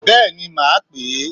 Béèni màá pè é